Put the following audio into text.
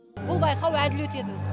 бұл байқау әділ өтеді